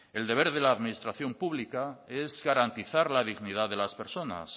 el deber de la administración pública es garantizar la dignidad de las personas